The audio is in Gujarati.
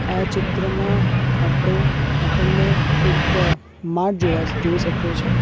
આ ચિત્રમાં આપડે આપણને એક માટ જોવા જોઈ શકીએ છે.